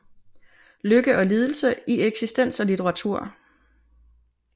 Lykke og lidelse i eksistens og litteratur